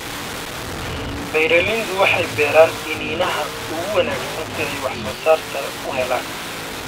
Beeraleydu waxay beeraan iniinaha ugu wanaagsan si ay waxsoosaar sare u helaan.